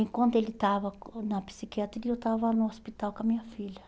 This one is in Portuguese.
Enquanto ele estava na psiquiatria, eu estava no hospital com a minha filha.